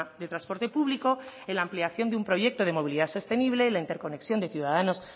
de transporte público en la ampliación de un proyecto de movilidad sostenible en la interconexión de ciudadanos